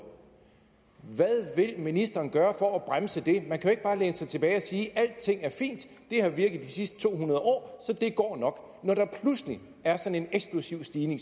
hvad vil ministeren gøre for at bremse det man kan jo ikke bare læne sig tilbage og sige alting er fint det har virket de sidste to hundrede år så det går nok når der pludselig er sådan en eksplosiv stigning